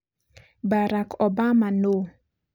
Barack Obama nũũ?